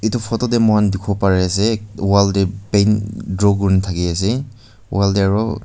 etu photo teh moikhan dikhibo pare ase wall teh bang draw kuri thake ase wall teh aru--